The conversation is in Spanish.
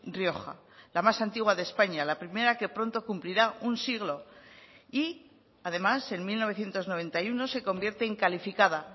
rioja la más antigua de españa la primera que pronto cumplirá un siglo y además en mil novecientos noventa y uno se convierte en calificada